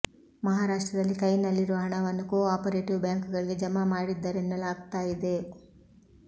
ಮಹಾರಾಷ್ಟ್ರದಲ್ಲಿ ಕೈನಲ್ಲಿರುವ ಹಣವನ್ನು ಕೋ ಆಪರೇಟಿವ್ ಬ್ಯಾಂಕ್ ಗಳಿಗೆ ಜಮಾ ಮಾಡ್ತಿದ್ದಾರೆನ್ನಲಾಗ್ತಾ ಇದೆ